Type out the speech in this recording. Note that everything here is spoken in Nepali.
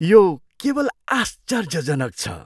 यो केवल आश्चर्यजनक छ!